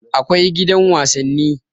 Akwai gidan wasanni